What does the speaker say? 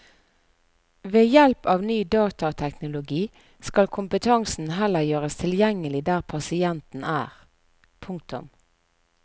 Ved hjelp av ny datateknologi skal kompetansen heller gjøres tilgjengelig der pasienten er. punktum